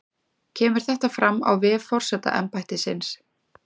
Kemur þetta fram á vef forsetaembættisins